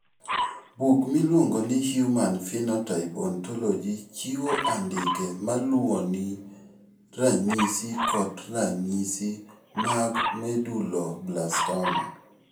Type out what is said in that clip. Buk miluongo ni Human Phenotype Ontology chiwo andike ma luwoni mar ranyisi kod ranyisi mag Medulloblastoma.